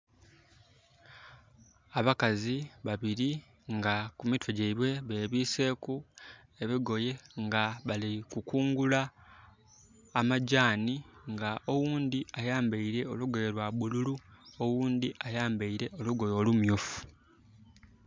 Abakazi babiri nga ku mitwe gyaibwe bebiseku ebigoye nga bali kukungula amajani nga oghundi ayambaire olugoye lwa bululu, oghundi ayambaire olugoye olumyufu